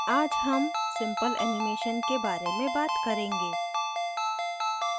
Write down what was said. आज हम simple animation के बारे में बात करेंगे